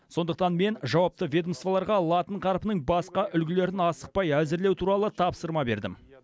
сондықтан мен жауапты ведомстволарға латын қарпінің басқа үлгілерін асықпай әзірлеу туралы тапсырма бердім